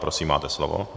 Prosím, máte slovo.